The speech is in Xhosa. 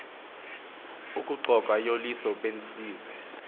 ukuxoka uliso benzise